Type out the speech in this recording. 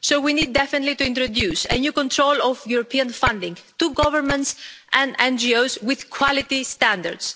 So we need definitely to introduce a new control of European funding to governments and NGOs with quality standards.